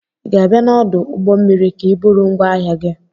ị ga-abịa n'ọdụ ụgbọ mmiri ka iburu ngwaahia gi?